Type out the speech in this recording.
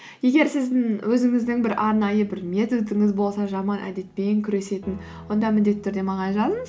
егер сіздің өзіңіздің бір арнайы бір методыңыз болса жаман әдетпен күресетін онда міндетті түрде маған жазыңыз